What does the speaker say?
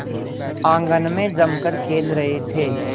आंगन में जमकर खेल रहे थे